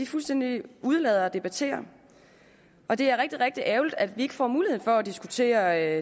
fuldstændig undlader at debattere det og det er rigtig ærgerligt at vi ikke får mulighed for at diskutere